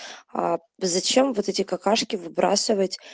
а зачем вот эти какашки выбросывать